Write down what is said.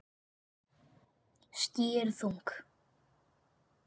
Ský eru þung.